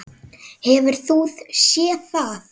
Hefur þú séð það?